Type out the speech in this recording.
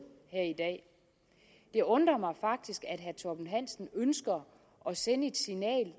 det undrer mig faktisk at herre torben hansen ønsker at sende et signal